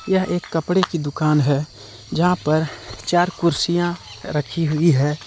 यह एक कपड़े की दुकान है जहां पर चार कुर्सियां रखी हुई है।